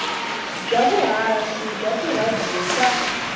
bya vuhaxi bya tiradiyo ta